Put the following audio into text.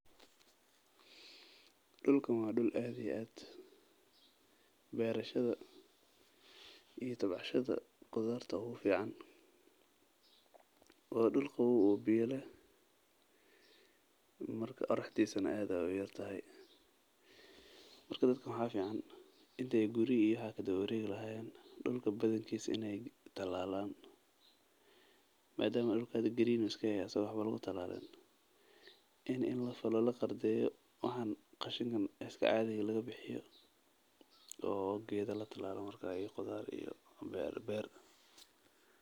Dulkan waa dul aad iyo aad beerashada qudaarta ugu fican waa dul qaboow oo biya leh qoraxdiisa aad ayeey ufican tahay dadka waxaa fican inaay dulka talalan beer iyo qudaar.